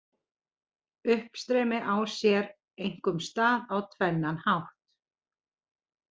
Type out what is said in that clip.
Uppstreymi á sér einkum stað á tvennan hátt: